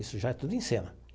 Isso já tudo em cena.